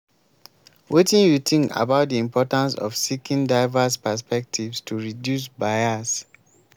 wetin you think about di importance of seeking diverse perspectives to reduce bias?